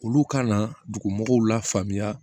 Olu ka na dugu mɔgɔw la faamuya